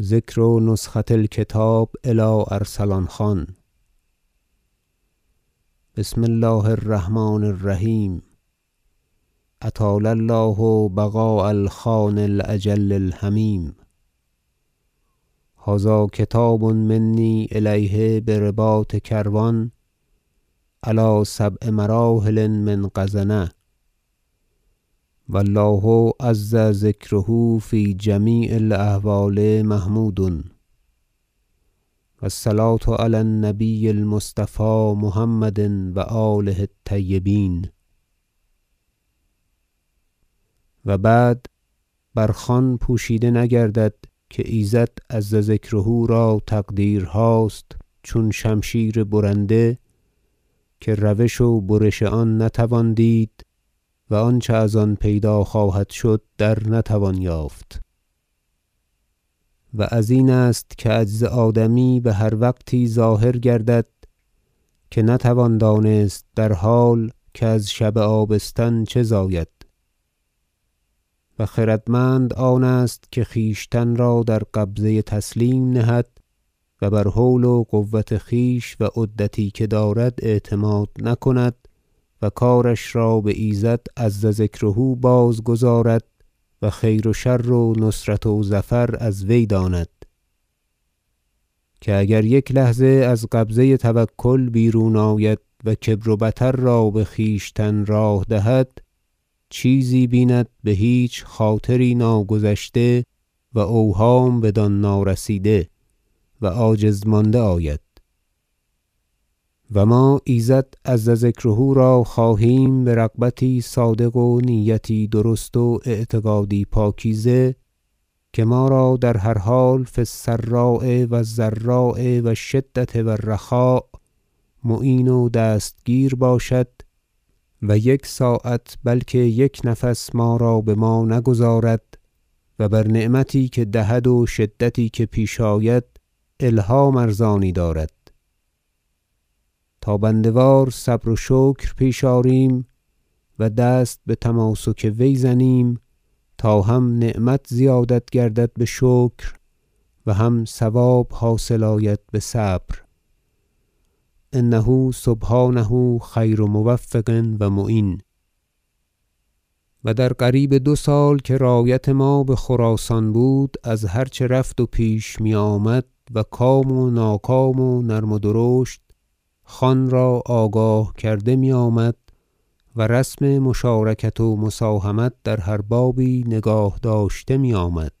ذکر نسخة الکتاب الی ارسلان خان بسم الله الرحمن الرحیم اطال الله بقاء الخان الأجل الحمیم هذا کتاب منی الیه برباط کروان علی سبع مراحل من غزنة و الله عز ذکره فی جمیع الأحوال محمود و الصلوة علی النبی المصطفی محمد و آله الطیبین و بعد بر خان پوشیده نگردد که ایزد عز ذکره را تقدیرهاست چون شمشیر برنده که روش و برش آن نتوان دید و آنچه از آن پیدا خواهد شد در نتوان یافت و ازین است که عجز آدمی بهر وقتی ظاهر گردد که نتوان دانست در حال که از شب آبستن چه زاید خردمند آنست که خویشتن را در قبضه تسلیم نهد و بر حول و قوت خویش و عدتی که دارد اعتماد نکند و کارش را بایزد عز ذکره بازگذارد و خیر و شر و نصرت و ظفر از وی داند که اگر یک لحظه از قبضه توکل بیرون آید و کبر و بطر را بخویشتن راه دهد چیزی بیند بهیچ خاطری ناگذشته و اوهام بدان نارسیده و عاجز مانده آید و ما ایزد عز ذکره را خواهیم برغبتی صادق و نیتی درست و اعتقادی پاکیزه که ما را در هر حال فی السراء و الضراء و الشدة و الرخاء معین و دستگیر باشد و یک ساعت بلکه یک نفس ما را بما نگذارد و بر نعمتی که دهد و شدتی که پیش آید الهام ارزانی دارد تا بنده وار صبر و شکر پیش آریم و دست بتماسک وی زنیم تا هم نعمت زیادت گردد بشکر و هم ثواب حاصل آید بصبر انه سبحانه خیر موفق و معین و در قریب دو سال که رایت ما بخراسان بود از هر چه رفت و پیش میآمد و کام و ناکام و نرم و درشت خان را آگاه کرده میآمد و رسم مشارکت و مساهمت در هر بابی نگاه داشته میآید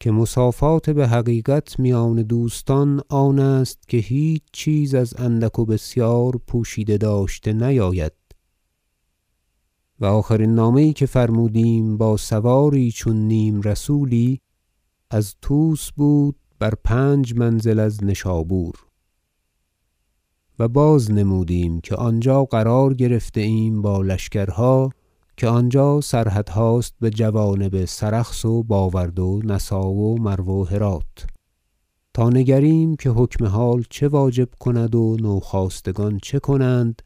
که مصافات بحقیقت میان دوستان آنست که هیچ چیز از اندک و بسیار پوشیده داشته نیاید و آخرین نامه یی که فرمودیم با سواری چون نیم- رسولی از طوس بود بر پنج منزل از نشابور و باز نمودیم که آنجا قرار گرفته ایم با لشکرها که آنجا سرحدهاست بجوانب سرخس و باورد و نسا و مرو و هرات تا نگریم که حکم حال چه واجب کند و نو خاستگان چه کنند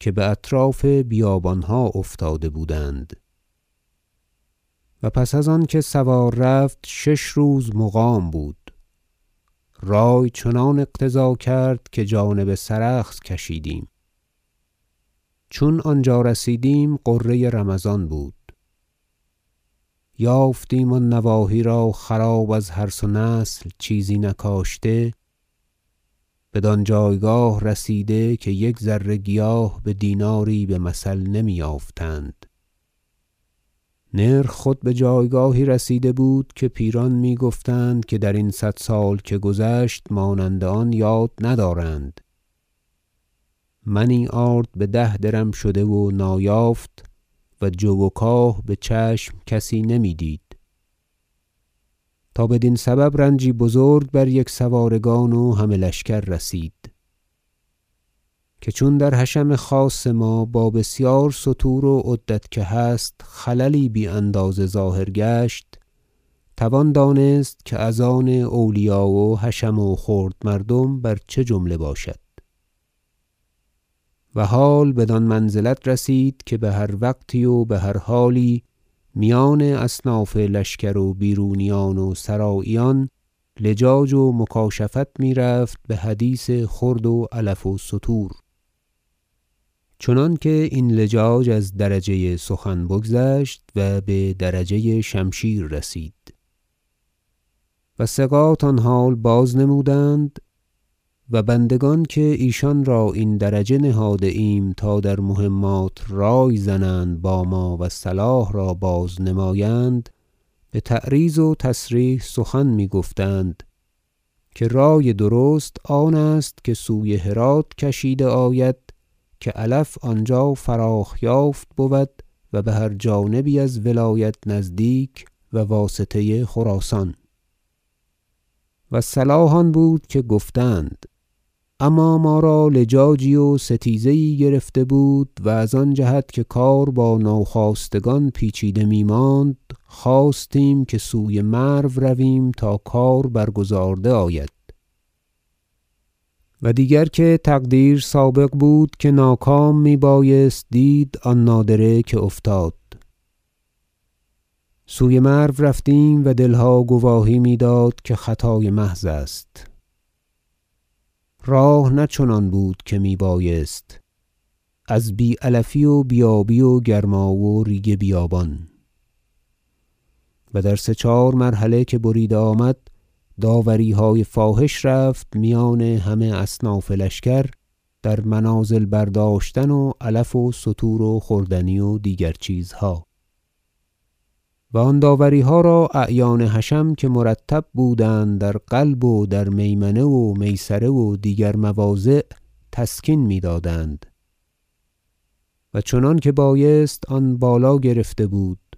که باطراف بیابانها افتاده بودند و پس از آنکه سوار رفت شش روز مقام بوده رای چنان اقتضا کرد که جانب سرخس کشیدیم چون آنجا رسیدیم غره رمضان بود یافتیم آن نواحی را خراب از حرث و نسل چیزی نکاشته بدانجایگاه رسیده که یک ذره گیاه بدیناری بمثل نمی یافتند نرخ خود بجایگاهی رسیده بود که پیران میگفتند که درین صد سال که گذشت مانند آن یاد ندارند منی آرد بده درم شده و نایافت و جو و کاه بچشم کسی نمیدید تا بدین سبب رنجی بزرگ بر یکسوارگان و همه لشکر رسید که چون در حشم خاص ما با بسیار ستور و عدت که هست خللی بی اندازه ظاهر گشت توان دانست که از آن اولیا و حشم و خرد مردم بر چه جمله باشد و حال بدان منزلت رسید که بهر وقتی و بهر حالی میان اصناف لشکر و بیر و نیان و سراییان لجاج و مکاشفت میرفت بحدیث خورد و علف و ستور چنانکه این لجاج از درجه سخن بگذشت و بدرجه شمشیر رسید و ثقات آن حال باز نمودند و بندگان که ایشان را این درجه نهاده ایم تا در مهمات رای زنند با ما و صلاح را باز نمایند بتعریض و تصریح سخن میگفتند که رای درست آنست که سوی هرات کشیده آید که علف آنجا فراخ- یافت بود و بهر جانبی از ولایت نزدیک و واسطه خراسان و صلاح آن بود که گفتند اما ما را لجاجی و ستیزه یی گرفته بود و از آن جهت که کار با نو خاستگان پیچیده میماند خواستیم که سوی مرو رویم تا کار برگزارده آید و دیگر که تقدیر سابق بود که ناکام میبایست دید آن نادره که افتاد سوی مرو رفتیم و دلها گواهی میداد که خطای محض است راه نه چنان بود که میبایست از بی علفی و بی آبی و گرما و ریگ بیابان و در سه چهار مرحله که بریده آمد داوریهای فاحش رفت میان همه اصناف لشکر در منازل برداشتن و علف و ستور و خوردنی و دیگر چیزها و آن داوریها را اعیان حشم که مرتب بودند در قلب و در میمنه و میسره و دیگر مواضع تسکین میدادند و چنانکه بایست آن بالا گرفته بود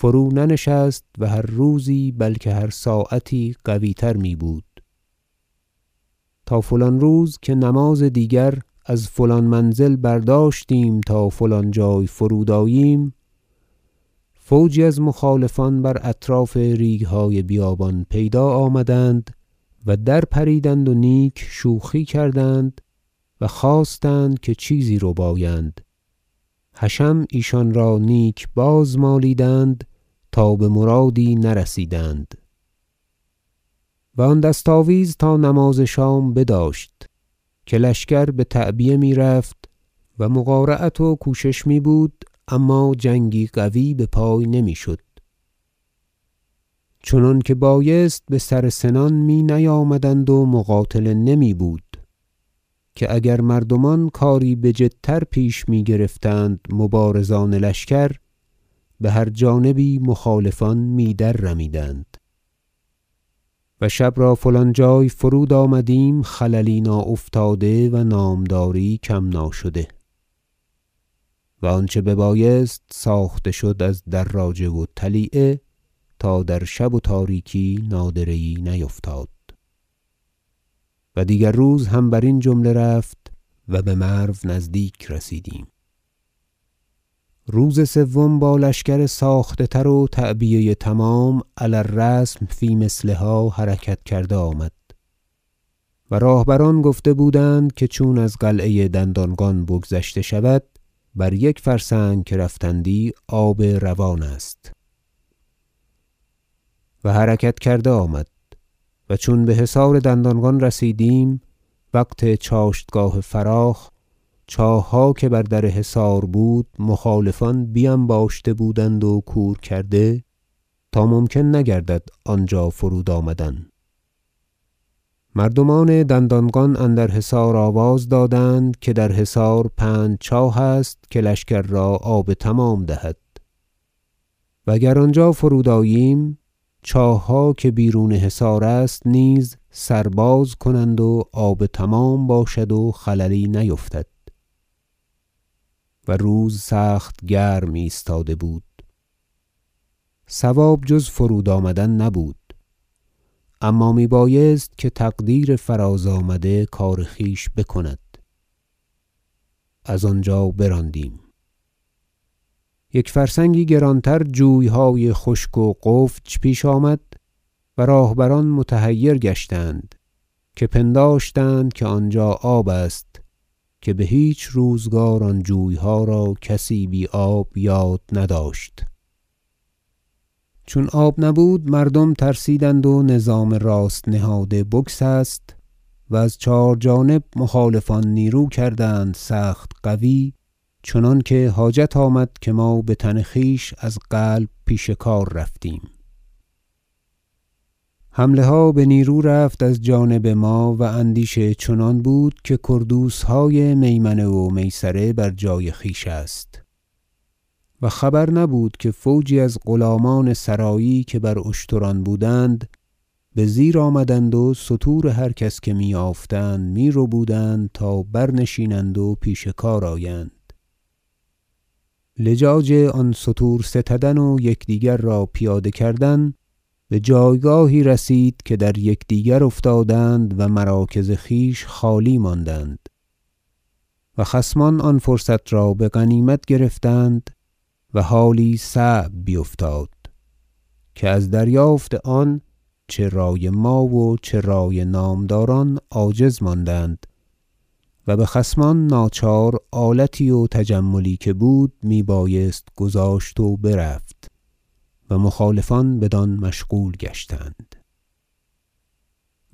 فرو نه نشست و هر روزی بلکه هر ساعتی قوی تر میبود تا فلان روز که نماز دیگر از فلان منزل برداشتیم تا فلان جای فرود آییم فوجی از مخالفان بر اطراف ریگهای بیابان پیدا آمدند و در پریدند و نیک شوخی کردند و خواستند که چیزی ربایند حشم ایشان را نیک باز مالیدند تا بمرادی نرسیدند و آن دست آویز تا نماز شام بداشت که لشکر بتعبیه میرفت و مقارعت و کوشش میبود اما جنگی قوی بپای نمیشد چنانکه بایست بسر سنان می نیامدند و مقاتله نمی بود که اگر مردمان کاری بجدتر پیش میگرفتند مبارزان لشکر بهر جانبی مخالفان می در رمیدند و شب را فلان جای فرود آمدیم خللی ناافتاده و نامداری کم ناشده و آنچه ببایست ساخته شد از دراجه و طلیعه تا در شب و تاریکی نادره یی نیفتاد و دیگر روز هم برین جمله رفت و بمرو نزدیک رسیدیم روز سوم با لشکر ساخته تر و تعبیه تمام علی الرسم فی مثلها حرکت کرده آمد و راهبران گفته بودند که چون از قلعه دندانقان بگذشته شود بر یک فرسنگ که رفتندی آب روان است و حرکت کرده آمد و چون بحصار دندانقان رسیدیم وقت چاشتگاه فراخ چاهها که بر در حصار بود مخالفان بینباشته بودند و کور کرده تا ممکن نگردد آنجا فرود آمدن مردمان دندانقان اندر حصار آواز دادند که در حصار پنج چاه است که لشکر را آب تمام دهد و اگر آنجا فرود آییم چاهها که بیرون حصار است نیز سر باز کنند و آب تمام باشد و خللی نیفتد و روز سخت گرم ایستاده بود صواب جز فرود آمدن نبود اما میبایست که تقدیر فراز آمده کار خویش بکند از آنجا براندیم یک فرسنگی گرانتر جویهای خشک و غفج پیش آمد و راهبران متحیر گشتند که پنداشتند که آنجا آب است که بهیچ روزگار آن جویها را کسی بی آب یاد نداشت چون آب نبود مردم ترسیدند و نظام راست نهاده بگسست و از چهار جانب مخالفان نیرو کردند سخت قوی چنانکه حاجت آمد که ما بتن خویش از قلب پیش کار رفتیم حمله ها بنیرو رفت از جانب ما و اندیشه چنان بود که کردوسهای میمنه و میسره بر جای خویش است و خبر نبود که فوجی از غلامان سرایی که بر اشتران بودند بزیر آمدند و ستور هر کس که می یافتند میربودند تا برنشینند و پیش کار آیند لجاج آن ستور ستدن و یکدیگر را پیاده کردن بجایگاهی رسید که در یکدیگر افتادند و مراکز خویش خالی ماندند و خصمان آن فرصت را بغنیمت گرفتند و حالی صعب بیفتاد که از دریافت آن چه رای ما و چه رای نامداران عاجز ماندند و بخصمان ناچار آلتی و تجملی که بود میبایست گذاشت و برفت و مخالفان بدان مشغول گشتند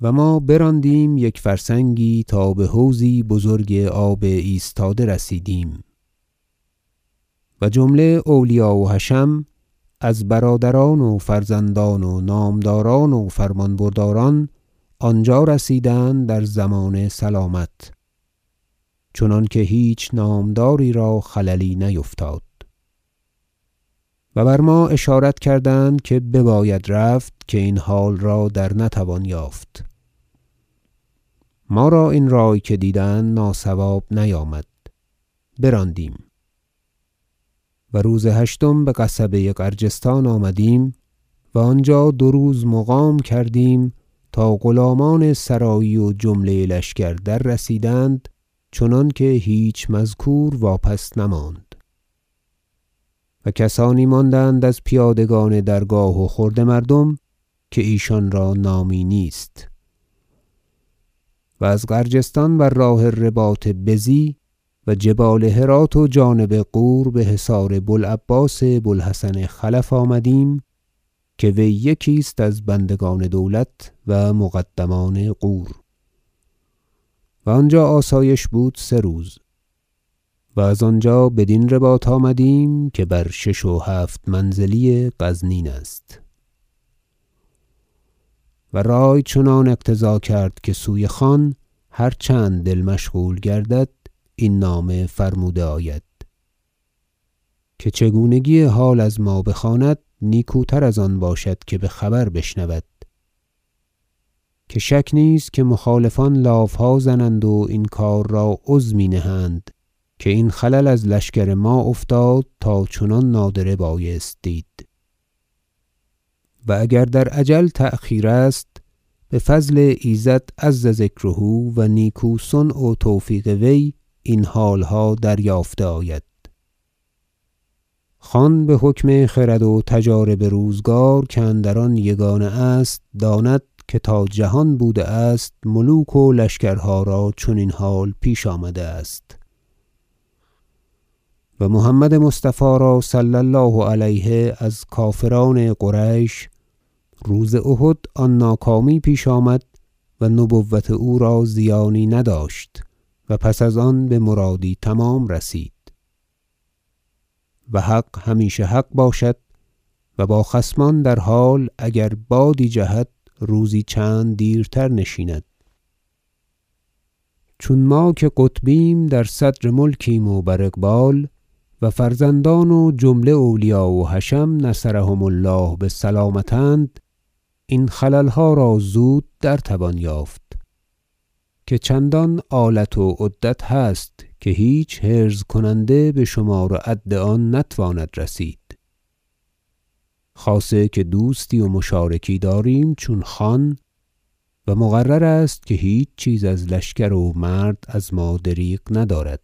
و ما براندیم یک فرسنگی تا بحوضی بزرگ آب ایستاده رسیدیم و جمله اولیا و حشم از برادران و فرزندان و نامداران و فرمانبرداران آنجا رسیدند در ضمان سلامت چنانکه هیچ نامداری را خللی نیفتاد و بر ما اشارت کردند که بباید رفت که این حال را در نتوان یافت ما را این رای که دیدند ناصواب نیامد براندیم و روز هشتم بقصبه غرجستان آمدیم و آنجا دو روز مقام کردیم تا غلامان سرایی و جمله لشکر دررسیدند چنانکه هیچ مذکور واپس نماند و کسانی ماندند از پیادگان درگاه و خرده مردم که ایشان را نامی نیست و از غرجستان بر راه رباط بزی و جبال هرات و جانب غور بحصار بو العباس بو الحسن خلف آمدیم که وی یکی است از بندگان دولت و مقدمان غور و آنجا آسایش بود سه روز و از آنجا بدین رباط آمدیم که بر شش و هفت منزلی غزنین است و رای چنان اقتضا کرد که سوی خان هر چند دل مشغول گردد این نامه فرموده آید که چگونگی حال از ما بخواند نیکوتر از آن باشد که بخبر بشنود که شک نیست که مخالفان لافها زنند و این کار را عظمی نهند که این خلل از لشکر ما افتاد تا چنان نادره بایست دید و اگر در اجل تأخیر است بفضل ایزد عز ذکره و نیکو صنع و توفیق وی این حالها دریافته آید خان بحکم خرد و تجارب روزگار که اندر آن یگانه است داند که تا جهان بوده است ملوک و لشکرها را چنین حال پیش آمده است و محمد مصطفی را صلی الله علیه از کافران قریش روز احد آن ناکامی پیش آمد و نبوت او را زیانی نداشت و پس از آن بمرادی تمام رسید و حق همیشه حق باشد و با خصمان در حال اگر بادی جهد روزی چند دیرتر نشیند چون ما که قطبیم بحمد الله در صدر ملکیم و بر اقبال و فرزندان و جمله اولیا و حشم نصرهم الله بسلامت اند این خللها را زود در توان یافت که چندان آلت و عدت هست که هیچ حرز کننده بشمار و عد آن نتواند رسید خاصه که دوستی و مشارکی داریم چون خان و مقرر است که هیچ چیز از لشکر و مرد از ما دریغ ندارد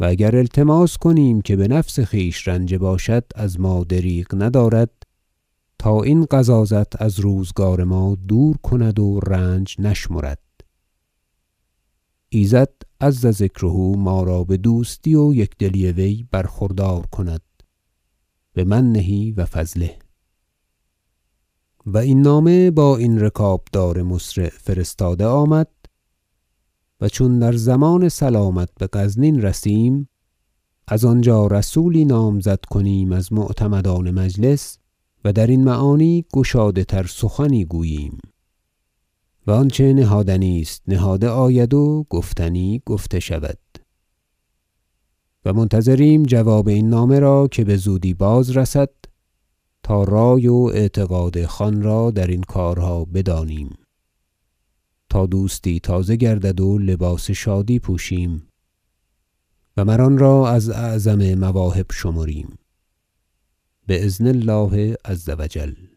و اگر التماس کنیم که بنفس خویش رنجه باشد از ما دریغ ندارد تا این غضاضت از روزگار ما دور کند و رنج نشمرد ایزد عز ذکره ما را بدوستی و یکدلی وی برخوردار کناد بمنه و فضله و این نامه با این رکابدار مسرع فرستاده آمد و چون در ضمان سلامت بغزنین رسیم از آنجا رسولی نامزد کنیم از معتمدان مجلس و درین معانی گشاده تر سخنی گوییم و آنچه نهادنی است نهاده آید و گفتنی گفته شود و منتظریم جواب این نامه را که بزودی باز رسد تا رای و اعتقاد خان را درین کارها بدانیم تا دوستی تازه گردد و لباس شادی پوشیم و مر آنرا از اعظم مواهب شمریم باذن الله عز و جل